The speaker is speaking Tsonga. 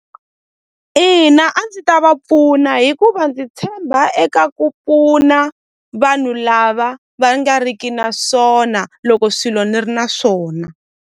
Ina a ndzi ta va pfuna hikuva ndzi tshemba eka ku pfuna vanhu lava va nga riki na swona loko swilo ni ri na swona.